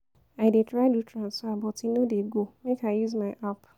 I dey try do transfer but e no dey go, make I use my app.